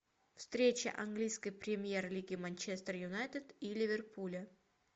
встреча английской премьер лиги манчестер юнайтед и ливерпуля